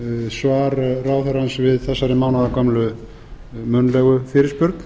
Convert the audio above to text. svar ráðherrans við þessari mánaðargömlu munnlegu fyrirspurn